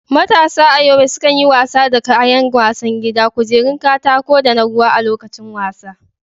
Matasa a Yobe sukan yi wasa da kayan wasan gida, kujerun katako, da na ruwa a lokacin wasa.